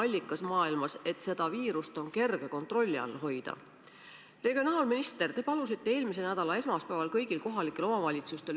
Igas maakonnas on Päästeametil oma esindus, nad on valmis konkreetselt konsulteerima ka eraldi igat omavalitsust.